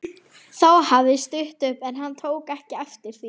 Þá hafði stytt upp en hann tók ekki eftir því.